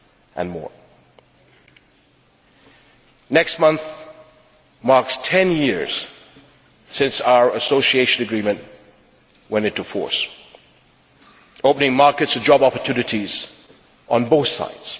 and more. Next month marks ten years since our Association Agreement went into force, opening markets and job opportunities on both sides.